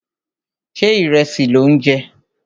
Ṣé ìrẹsì lò ń jẹ?